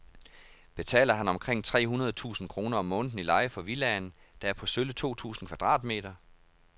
Betaler han omkring tre hundrede tusind kroner om måneden i leje for villaen, der er på sølle to tusind kvadratmeter?